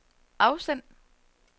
afsend